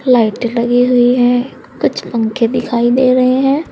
Light लगी हुई है कुछ पंखे दिखाई दे रहे हैं।